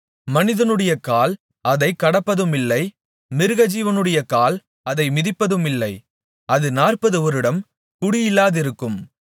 மனிதனுடைய கால் அதைக் கடப்பதுமில்லை மிருகஜீவனுடைய கால் அதை மிதிப்பதுமில்லை அது நாற்பது வருடம் குடியில்லாதிருக்கும்